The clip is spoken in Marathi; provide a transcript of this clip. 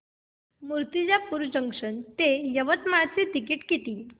मूर्तिजापूर जंक्शन ते यवतमाळ चे तिकीट किती